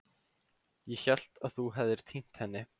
Ég hélt að þú hefðir týnt henni.